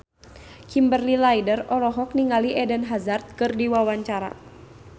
Kimberly Ryder olohok ningali Eden Hazard keur diwawancara